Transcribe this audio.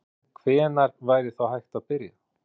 En hvenær væri þá hægt að byrja?